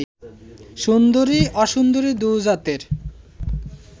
সুন্দরী অসুন্দরী দু জাতের